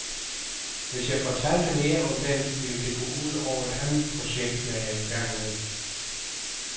Hvis jeg fortalte mere om den, ville det gå ud over et andet projekt, jeg er i gang med.